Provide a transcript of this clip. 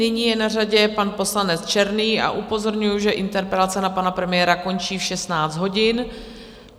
Nyní je na řadě pan poslanec Černý a upozorňuju, že interpelace na pana premiéra končí v 16 hodin.